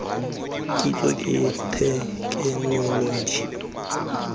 kitso ke thekenoloji kgotsa tiriso